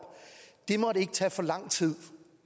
siden